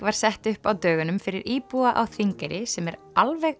var sett upp á dögunum fyrir íbúa á Þingeyri sem er alveg